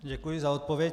Děkuji za odpověď.